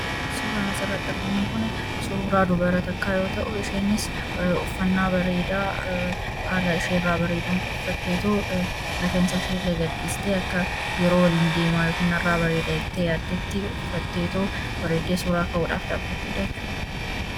Suuraa kana irra dubra faayamtee fi bareeddeetu mullata.